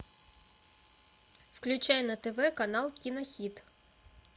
включай на тв канал кинохит